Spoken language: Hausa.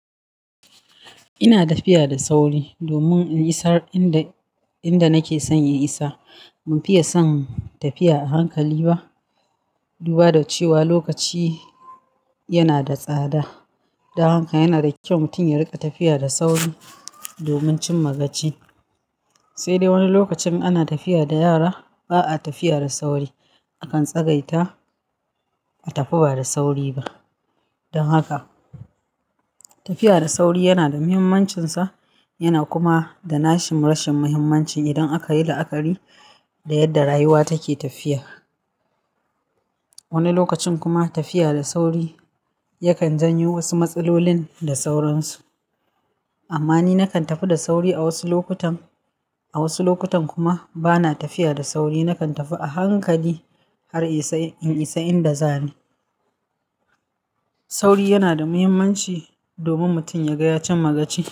Ina tafiya da sauri domin in isar inda nake son in isa. Ban fiye son tafiya a hankali ba duba da cewa lokaci yana da tsada. Don haka yana da kyau mutum ya riƙa tafiya da sauri domin cin magaci. Sai dai wani lokacin ana tafiya da yara ba a tafiya da sauri. Akan tsagaita a tafi ba da sauri ba. Dan aka tafiya da sauri yana da muyinmancin sa, yana kuma da nashi rashin muyinmancin indan aka yi la'akari da yanda rayuwa take tafiya wani lokacin kuma tafiya da sauri yakan janyo wasu matsalolin da sauransu. Amma ni nakan tafi da sauri a wasu lokutan. A wasu lokutan kuma bana tafiya da sauri. Nakan tafi a hankali har in isa inda zani. Sauri yana da muhimmanci domin mutum ya gaya cin magaci.